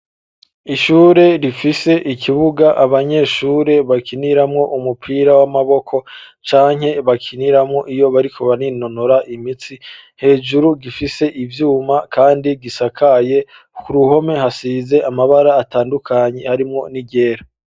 Ishuri rifise ikibuga, abanyeshure bakiniramwo umupira w'amaboko, canke bakiniramwo iyo bariko baninonora imitsi, hejuru gifise ivyuma kandi gisakaye, ku ruhome hasize amabara atandukanye, harimwo n'iryera.